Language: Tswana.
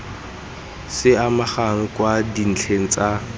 se amegang kwa dintlheng tsa